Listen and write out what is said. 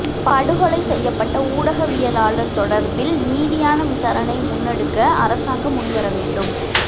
படுகொலை செய்யப்பட்ட ஊடகவியலாளர் தொடர்பில் நீதியான விசாரணையை முன்னெடுக்க அரசாங்கம் முன்வரவேண்டும்